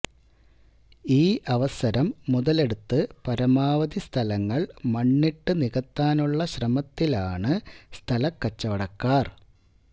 ഈ അവസരം മുതലെടുത്ത് പരമാവധി സ്ഥലങ്ങള് മണ്ണിട്ട് നികത്താനുള്ള ശ്രമത്തിലാണ് സ്ഥലക്കച്ചവടക്കാര്